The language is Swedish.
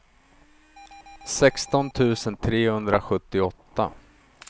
sexton tusen trehundrasjuttioåtta